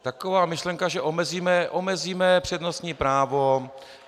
Taková myšlenka, že omezíme přednostní právo...